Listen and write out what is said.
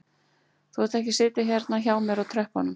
Þú átt ekki að sitja hérna hjá mér á tröppunum